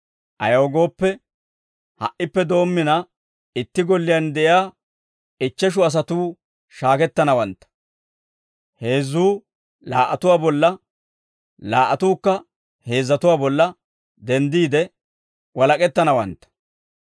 Ayaw gooppe, ha"ippe doommina itti golliyaan de'iyaa ichcheshu asatuu shaakettanawantta; heezzatuu laa"atuwaa bolla, laa"atuukka heezzatuwaa bolla denddiide walak'ettanawantta.